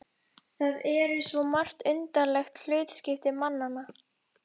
Það eru svo margt undarlegt hlutskipti mannanna.